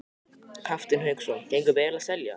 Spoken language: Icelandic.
Hafsteinn Hauksson: Gengur vel að selja?